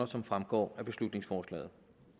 som fremgår af beslutningsforslaget